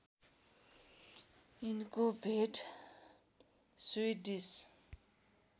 यिनको भेट स्विडिस